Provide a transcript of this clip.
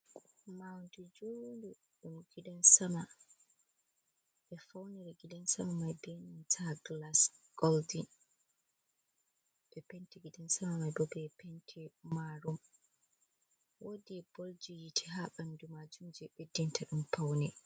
Madi juu ndow ɗum gidan sama, ɓe faunere gidan sama mai be nanta glas goldin, ɓe pente gidan sama mai bo be pente marum, wudi bolji yiti ha ɓandu majum je ɓeddinta ɗun faune.